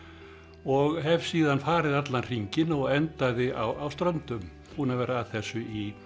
og hef síðan farið allan hringinn og endaði á Ströndum búinn að vera að þessu í